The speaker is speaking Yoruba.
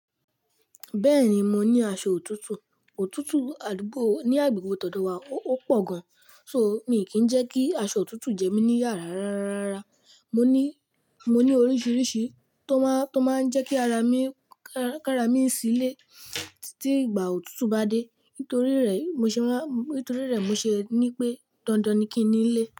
Bẹ́ẹ̀ni, mo ní aṣọ òtútù. Òtútù àdúgbò ní agbègbè tọ̀ dọ̀wa ó, o pọ̀ gan. So, mi kì n jẹ́ kí aṣọ òtútù jẹ́ mí ní iyà rárárárárara. Mo ní, mo ní oríṣiríṣi tó máa, tó máa ń jẹ́ kí ara mi, ká, ká ra mí sílé tí ìgbà òtútù bá dé. Nítorí rẹ̀ mo ṣe máa, nítorí rẹ̀ mo ṣe ní pé dandan ni kí n ní nlé.